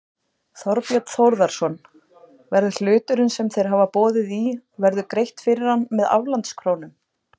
Þorbjörn Þórðarson: Verður hluturinn sem þeir hafa boðið í verður greitt fyrir hann með aflandskrónum?